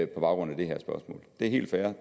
baggrund af det her spørgsmål det er helt fair